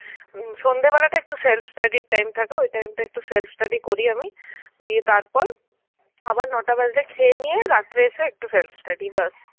উম সন্ধেবেলাটা একটু self study র time থাকে ওই time টা একটু self study করি আমি. গিয়ে তারপর আবার নটা বাজলে খেয়ে নিয়ে রাত্রিরে এসে একটু self study ব্যাস.